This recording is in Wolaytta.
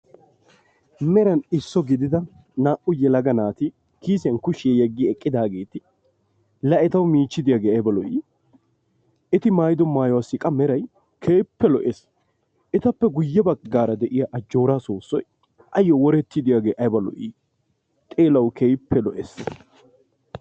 Meran isso mala gidida naa"u yelaga naati kiisiyan kushiya yeggidaageeti la etaw miichi diyagee ayiba lo"ii! Eti maayido maayuwassi qa meray keehippe lo"es. Etappe guyye baggaara de"iya ajjoora soossoy ayyo woretti diyaagee ayiba lo"i! Xeelaw keehippe lo"es.